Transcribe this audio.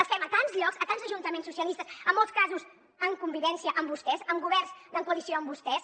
les fem a tants llocs a tants ajuntaments socialistes en molts casos en convivència amb vostès amb governs en coalició amb vostès